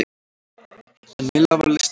En Milla var lystarlaus.